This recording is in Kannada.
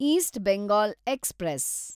East Bengal express